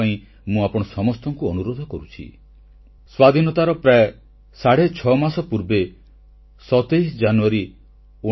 October 31 ତାରିଖ ଆମ ସମସ୍ତଙ୍କ ପ୍ରିୟ ସର୍ଦ୍ଦାର ବଲ୍ଲଭଭାଇ ପଟେଲଙ୍କ ଜୟନ୍ତୀ ଏବଂ ପ୍ରତିବର୍ଷ ପରି ଏକତା ପାଇଁ ଦୌଡ଼ ରନ୍ ଫୋର ୟୁନିଟିରେ ଦେଶର ଯୁବବର୍ଗ ଏକତା ପାଇଁ ଦୌଡ଼ିବାକୁ ପ୍ରସ୍ତୁତ ହୋଇସାରିଲାଣି